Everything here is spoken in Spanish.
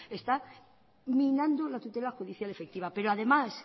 está minando la tutela judicial efectiva pero además